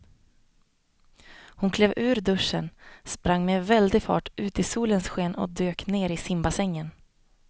Hon klev ur duschen, sprang med väldig fart ut i solens sken och dök ner i simbassängen.